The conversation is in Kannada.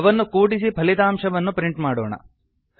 ಅವನ್ನು ಕೂಡಿಸಿ ಫಲಿತಾಂಶವನ್ನು ಪ್ರಿಂಟ್ ಮಾಡೋಣ